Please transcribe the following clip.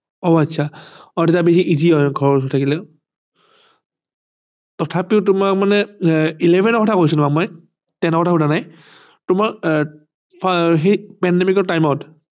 অ আচ্ছা অ তেতিয়া easy হয় ঘৰৰ ওচৰত থাকিলেও তথাপিও তোমাক মানে eleven ৰ কথা কৈছো তোমাক মই ten ৰ কথা শুধা নাই তোমাৰ সেই pandemic ৰ time ত